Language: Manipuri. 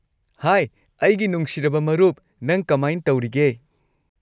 ꯍꯥꯢ ꯑꯩꯒꯤ ꯅꯨꯡꯁꯤꯔꯕ ꯃꯔꯨꯞ, ꯅꯪ ꯀꯃꯥꯥꯢꯟ ꯇꯧꯔꯤꯒꯦ?